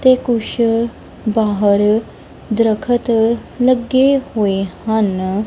ਤੇ ਕੁਛ ਬਾਹਰ ਦਰਖਤ ਲੱਗੇ ਹੋਏ ਹਨ।